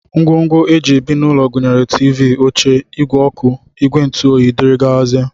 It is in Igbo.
Ngwongwo e ji ebi n'ụlọ gụnyere tiivii, oche, ìgwè ọkụ, ìgwè ntụoyi, dgz